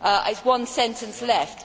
I have one sentence left.